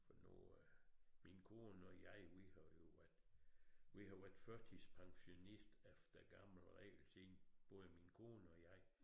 For nu øh min kone og jeg vi har jo været vi har været førtidspensionist efter gammel regel siden både min kone og jeg